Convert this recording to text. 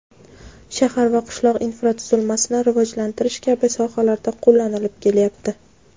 shahar va qishloq infratuzilmasini rivojlantirish kabi sohalarda qo‘llanilib kelyapti.